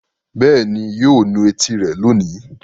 Bẹ́ẹ̀ ni, yóò nu etí rẹ̀ lónìí.